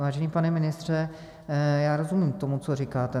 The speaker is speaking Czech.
Vážený pane ministře, já rozumím tomu, co říkáte.